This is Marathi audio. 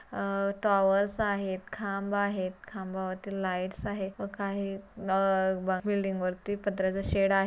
अह टॉवरस आहेत खांब आहेत खांबावरती लाइटस आहे व काही अह बा बिल्डिंग वरती पत्र्याचा शेड आहे.